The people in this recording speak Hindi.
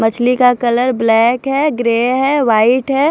मछली का कलर ब्लैक है ग्रे है वाइट है।